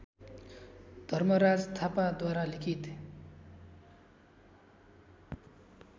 धर्मराज थापाद्वारा लिखित